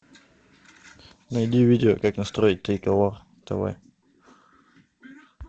найди видео как настроить триколор тв